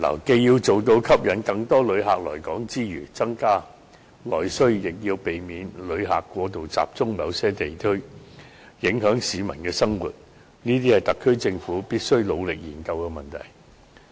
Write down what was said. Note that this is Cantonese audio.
既要做到吸引更多旅客來港，以增加內需，亦要避免旅客過度集中於某些區域，影響市民生活，這將是特區政府必須努力研究的問題。